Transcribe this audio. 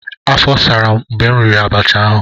afo saram mgbe m riri abacha ahu.